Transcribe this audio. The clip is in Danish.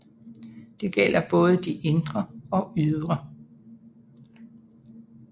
Det gælder både de indre og ydre